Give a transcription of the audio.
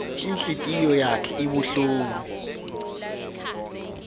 inhlitiyo yakhe ibuhlungu